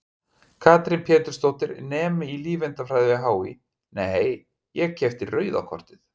Katrín Pétursdóttir, nemi í lífeindafræði við HÍ: Nei, ég keypti rauða kortið?